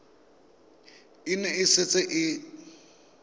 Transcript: e ne e setse e